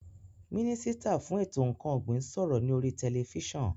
Mínísítà fún ètò ǹkan ọ̀gbìn ń sọ̀rọ̀ ní oríi tẹlifísàn